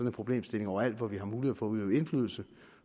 en problemstilling overalt hvor vi har mulighed for at øve indflydelse